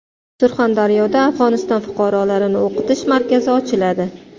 Surxondaryoda Afg‘oniston fuqarolarini o‘qitish markazi ochiladi.